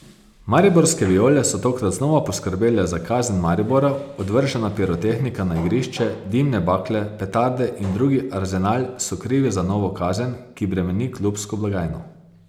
Mariborske viole so tokrat znova poskrbele za kazen Maribora, odvržena pirotehnika na igrišče, dimne bakle, petarde in drugi arzenal so krivi za novo kazen, ki bremeni klubsko blagajno.